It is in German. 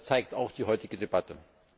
Das zeigt auch die heutige Debatte.